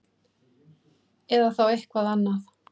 Eða þá eitthvað annað.